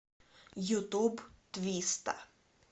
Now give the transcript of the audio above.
ютуб твиста